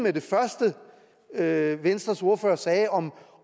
er i venstres ordfører sagde om